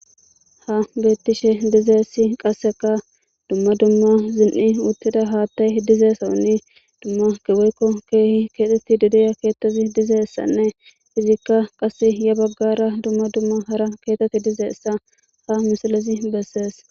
ha bettishe dizeessi qasseka dumma dumma zin7i uttida haattay dizeesaunni dumma geweykko keehi keexetti dideya keettazi dizeessanne izikka qas ya baggara dumma dumma hara keetet dizeessa ha misalazi bessees.